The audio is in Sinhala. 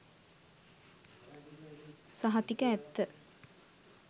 සහතික ඇත්ත.